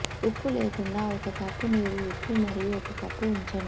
ఉప్పు లేకుండా ఒక కప్పు నీరు ఉప్పు మరియు ఒక కప్పు ఉంచండి